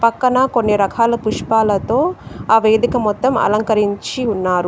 పక్కన కొన్ని రకాల పుష్పాలతో ఆ వేదిక మొత్తం అలంకరించి ఉన్నారు.